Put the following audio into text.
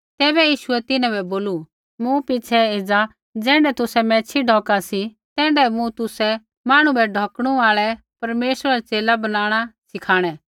तैबै यीशुऐ तिन्हां बै बोलू मूँ पिछ़ै एज़ा ज़ैण्ढै तुसै मैच्छ़ी ढौका सी तैण्ढै मूँ तुसै मांहणु बै ढौकणु आल़ै परमेश्वरा रा च़ेला बनाणा सिखाणै